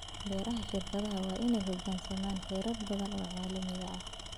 Beeraha shirkaduhu waa inay u hoggaansamaan xeerar badan oo caalami ah.